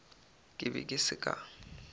ke be ke se ka